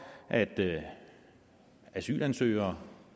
at asylansøgere